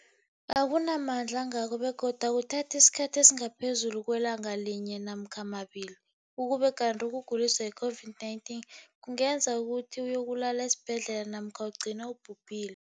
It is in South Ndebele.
akuna mandla angako begodu akuthathi isikhathi esingaphezulu kwelanga linye namkha mabili, ukube kanti ukuguliswa yi-COVID-19 kungenza ukuthi uyokulala esibhedlela namkha ugcine ubhubhile.